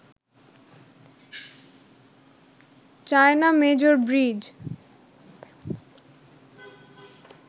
China major bridge